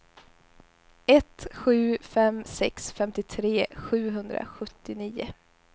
ett sju fem sex femtiotre sjuhundrasjuttionio